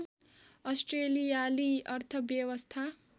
अस्ट्रेलियाली अर्थव्यवस्था